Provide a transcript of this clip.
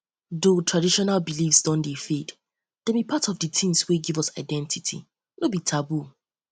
though traditional beliefs don dey fade dem be part of di things wey di things wey give us identity no be taboo